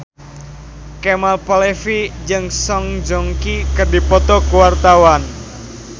Kemal Palevi jeung Song Joong Ki keur dipoto ku wartawan